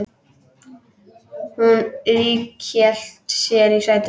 Hún ríghélt sér í sætið.